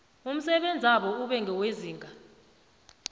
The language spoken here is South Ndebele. umsebenzabo ube ngewezinga